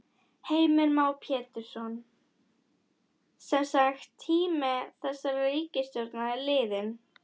Heimir Már Pétursson: Semsagt tími þessarar ríkisstjórnar er liðinn?